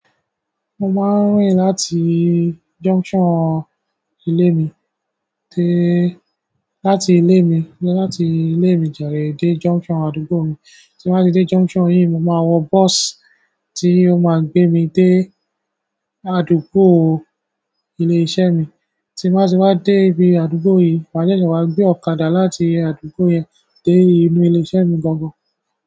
Mo máa ń rìn láti junction ilé mi dé, láti ilé mi, lọ láti ilé mi jàre dé junction àdúgbò mi. Tí mo bá dé junction yìí, mo máa wọ bus tí ó máa gbé mi dé àdúgbò ilé iṣẹ́ mi. Tí mo bá ti dé ibi àdúgbò yìí, màá jẹ́ ṣé wàá gbé ọ̀kadà láti ibi àdúgbò yẹn dé inú ilé iṣẹ́ mi gangan.